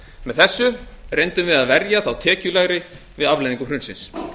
með þessu reyndum við að verja þá tekjulægri við afleiðingum hrunsins